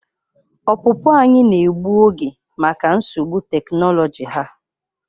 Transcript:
Ọpụpụ anyị na-egbu oge maka nsogbu teknoloji ha.